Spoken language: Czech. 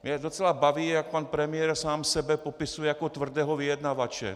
Mě docela baví, jak pan premiér sám sebe popisuje jako tvrdého vyjednavače.